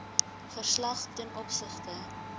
verslag ten opsigte